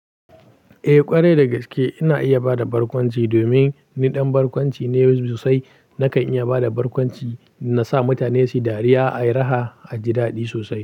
Eh ƙwarai da gaske ina iya bada barkwanci domin ni ɗan barkwanci ne sosai. Naka iya bada barkwanci, na sa mutane suyi dariya, ayi raha aji daɗi sosai.